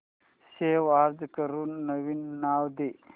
save as करून नवीन नाव दे